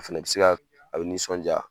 A fɛnɛ bɛ se ka , a bɛ nisɔndiya.